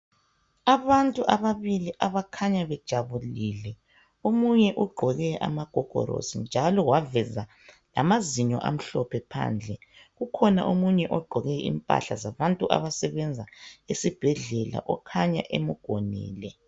Abantu ababili abakhanya bejabulile omunye ugqoke amagogolosi njalo waveza lamazinyo amhlophe phandle ukhona omunye ogqoke impahla zabantu abasebenza esibhedlela okhanya emgonile.